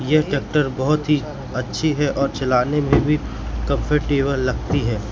यह ट्रैक्टर बहोत ही अच्छी है और चलाने में भी कंफर्टेबल लगती है।